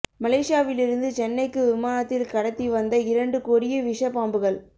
மலேசியாவிலிருந்து சென்னைக்கு விமானத்தில் கடத்தி வந்த இரண்டு கொடிய விஷ பாம்புகள்